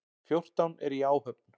Fjórtán eru í áhöfn.